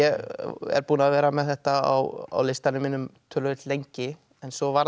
er búinn að vera með þetta á listanum mínum töluvert lengi svo var það